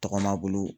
Tɔgɔma bolo